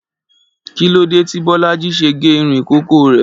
Kí lóde tí Bọ́lájí ṣe gé irun ìkókó rẹ̀?